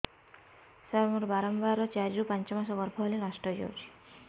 ସାର ମୋର ବାରମ୍ବାର ଚାରି ରୁ ପାଞ୍ଚ ମାସ ଗର୍ଭ ହେଲେ ନଷ୍ଟ ହଇଯାଉଛି